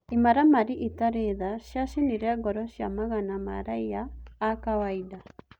Imaramari itarĩ tha ciacinire ngoro cia magana ma-raiya a-kawainda.